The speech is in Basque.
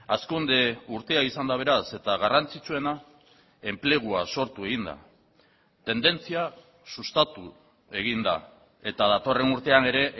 hazkunde urtea izan da beraz eta garrantzitsuena enplegua sortu egin da tendentzia sustatu egin da eta datorren urtean ere